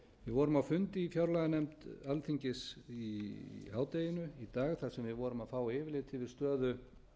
vorum á fundi í fjárlaganefnd alþingis í hádeginu í dag þar sem við vorum að fá yfirlit yfir stöðu